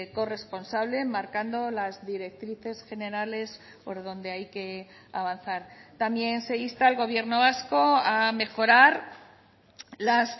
corresponsable marcando las directrices generales por donde hay que avanzar también se insta al gobierno vasco a mejorar las